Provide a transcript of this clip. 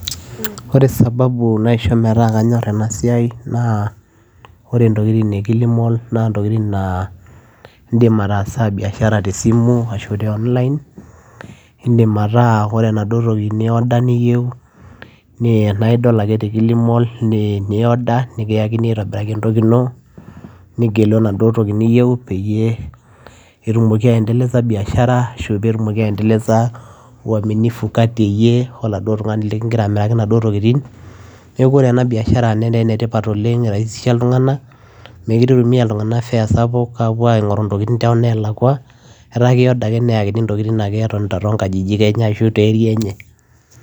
Ore sababu naisho metaa kanyorr ena siai naa ore intokiting e kilimall naa intokitin naa indim ataasa biashara tesimu ashu te online indim ataa kore enaduo toki ni order niyieu nee naidol ake te kilimall ni ni order nikiyakini aitobiraki entoki ino nigelu enaduo toki niyieu peyie etumoki aendeleza biashara ashu petumoki ashu petumoki aendeleza uaminifu kati eyie oladuo tung'ani likingira amiraki inaduo tokiting neeku ore ena biashara netaa enetipat oleng iraisisha iltung'anak mekire itumia iltung'anak fare sapuk apuo aing'oru intokiting tonelakua etaa kei order ake neyakini intokitin etonita ake tonkajijik enye ashu te area enye.